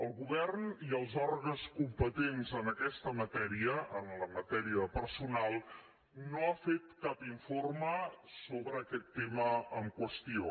el govern i els òrgans competents en aquesta matèria en la matèria de personal no ha fet cap informe sobre aquest tema en qüestió